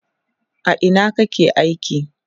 a Ina kake aiki?